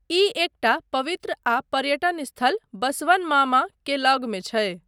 ई एकटा पवित्र आ पर्यटन स्थल 'बसवन मामा' के लगमे छै।